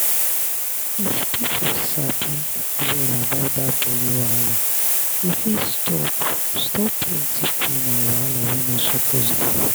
if people sabi well about that belly wahala e fit stop stop plenty pain and wahala wey no suppose dey.